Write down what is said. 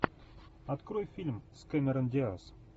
открой фильм с кэмерон диаз